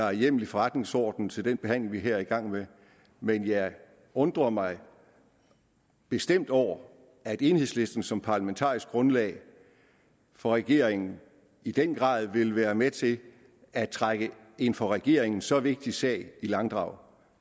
er hjemmel i forretningsordenen til den behandling vi her er i gang med men jeg undrer mig bestemt over at enhedslisten som parlamentarisk grundlag for regeringen i den grad vil være med til at trække en for regeringen så vigtig sag i langdrag